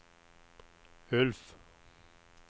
Ulf